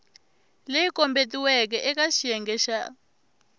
leyi kombetiweke eka xiyenge xa